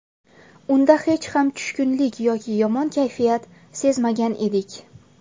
Unda hech qanday tushkunlik yoki yomon kayfiyat sezmagan edik”.